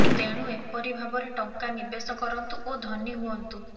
ତେଣୁ ଏପରି ଭାବରେ ଟଙ୍କା ନିବେଶ କରନ୍ତୁ ଓ ଧନୀ ହୁଇନ୍ତୁ